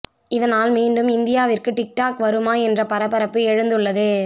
இதனால் மீண்டும் இந்தியாவிற்கு டிக் டாக் வருமா என்ற பரபரப்பு எழுந்துள்ளது